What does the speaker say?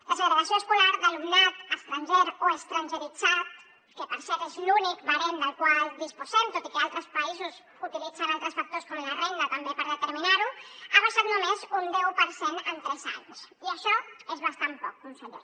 la segregació escolar d’alumnat estranger o estrangeritzat que per cert és l’únic barem del qual disposem tot i que altres països utilitzen altres factors com la renda també per determinar ho ha baixat només un deu per cent en tres anys i això és bastant poc conseller